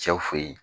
Cɛw fe yen